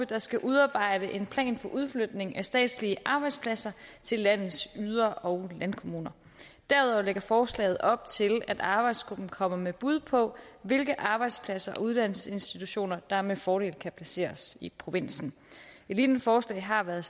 der skal udarbejde en plan for udflytning af statslige arbejdspladser til landets yder og landkommuner derudover lægger forslaget op til at arbejdsgruppen kommer med bud på hvilke arbejdspladser og uddannelsesinstitutioner der med fordel kan placeres i provinsen et lignende forslag har været